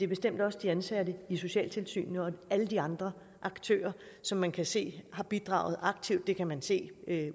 bestemt også de ansatte i socialtilsynene og alle de andre aktører som man kan se har bidraget aktivt det kan man se